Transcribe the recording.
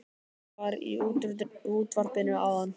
Það var í útvarpinu áðan